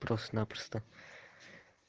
просто напросто